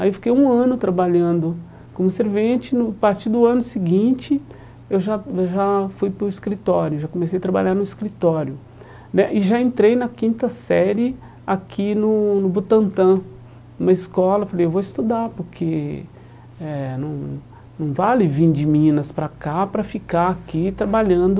aí fiquei um ano trabalhando como servente, no a partir do ano seguinte eu já já fui para o escritório, já comecei a trabalhar no escritório né e já entrei na quinta série aqui no no Butantan, numa escola, falei eu vou estudar porque eh não não vale vir de Minas para cá para ficar aqui trabalhando